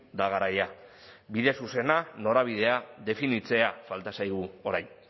da garaia bide zuzena norabidea definitzea falta zaigu orain